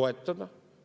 toetada.